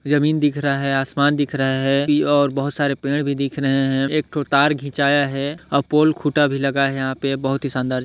जमीन दिख रहा है आसमान दिख रहा है ई और बहुत सारे पेड़ भी दिख रहे है एक ठो तार खिंचाया है आउ पोल खुटा भी लगा है बहुत ही शानदार --